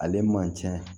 Ale man cɛn